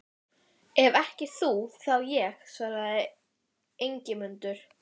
Ef ekki þú, þá ég, svaraði Ingimundur.